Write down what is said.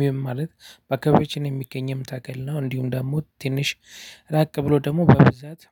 ምን ማለት በአካባቢያችን የሚገኝም ተክል ነው። እንዲሁም ደግሞ ትንሽ ራቅ ብሎ ደግሞ በብዛት